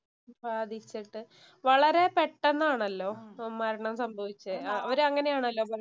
ബാധിച്ചിട്ട് വളരെ പെട്ടന്നാണല്ലോ മരണം സംഭവിച്ചേ. അവര് അങ്ങനെയാണല്ലോ